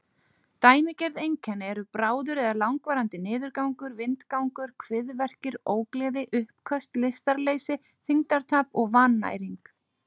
Dæmigerð einkenni eru bráður eða langvarandi niðurgangur, vindgangur, kviðverkir, ógleði, uppköst, lystarleysi, þyngdartap og vannæring.